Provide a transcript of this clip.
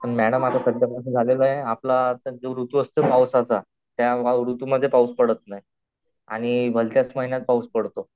Madam आता झालेलं आहे आपला आता जो ऋतू असतो पावसाचा त्या ऋतू मध्ये पाऊस पडत नाही आणि भलत्याच महिन्यात पाऊस पडतो.